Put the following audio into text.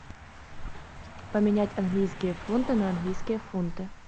поменять английские фунты на английские фунты